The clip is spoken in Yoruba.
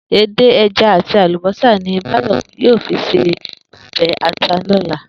Edé, e̩ja àti àlùbósà ni Báyò̩ yóò fi se o̩bè̩ ata ní ò̩la